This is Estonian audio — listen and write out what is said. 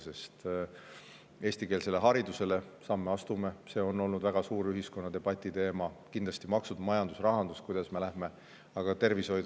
Me astume eestikeelsele haridusele samme, see on olnud ühiskonnas väga suur debatiteema, aga kindlasti on samasuguse tähtsusega teemad maksud, majandus ja rahandus, aga ka tervishoid.